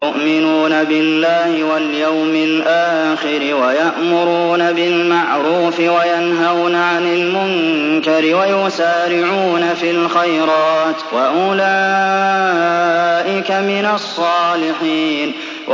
يُؤْمِنُونَ بِاللَّهِ وَالْيَوْمِ الْآخِرِ وَيَأْمُرُونَ بِالْمَعْرُوفِ وَيَنْهَوْنَ عَنِ الْمُنكَرِ وَيُسَارِعُونَ فِي الْخَيْرَاتِ وَأُولَٰئِكَ مِنَ الصَّالِحِينَ